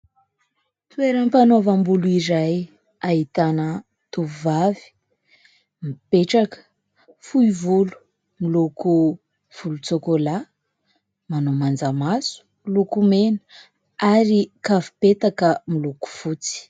Toeram-panaovam-bolo iray ahitana tovovavy mipetraka, fohy volo miloko volon-tsokola, manao manjamaso, lokomena ary kavim-petaka miloko fotsy.